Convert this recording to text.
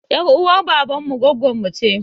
Ƴar uwar baban mu gwaggonmu ce